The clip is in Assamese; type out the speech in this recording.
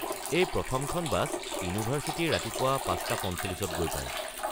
এই প্ৰথমখন বাছ ইউনিভাৰ্ছিটি ৰাতিপুৱা ৫:৪৫-ত গৈ পায়।